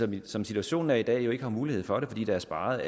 det som situationen er i dag har de jo ikke mulighed for det fordi der er sparet